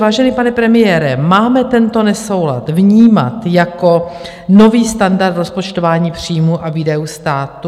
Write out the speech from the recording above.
Vážený pane premiére, máme tento nesoulad vnímat jako nový standard rozpočtování příjmů a výdajů státu?